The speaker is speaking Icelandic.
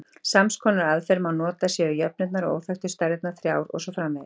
Sams konar aðferð má nota séu jöfnurnar og óþekktu stærðirnar þrjár og svo framvegis.